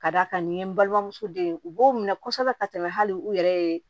Ka d'a kan nin ye n balimamuso den ye u b'o minɛ kosɛbɛ ka tɛmɛ hali u yɛrɛ ye